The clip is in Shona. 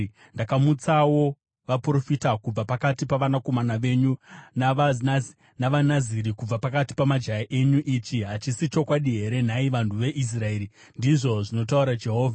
Ndakamutsawo vaprofita kubva pakati pavanakomana venyu, navaNaziri kubva pakati pamajaya enyu. Ichi hachisi chokwadi here, nhai vanhu veIsraeri?” ndizvo zvinotaura Jehovha.